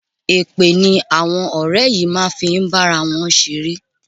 Èpè ni àwọn ọ̀rẹ́ yìí máa ń fi ń bá ara wọn ṣeré.